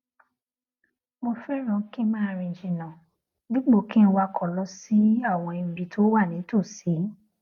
mo féràn kí n máa rìn jìnnà dípò kí n wakò lọ sí àwọn ibi tó wà nítòsí